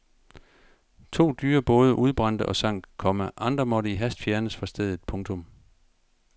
To dyre både udbrændte og sank, komma andre måtte i hast fjernes fra stedet. punktum